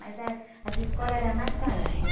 Mas ah, as escolas eram mais para homens.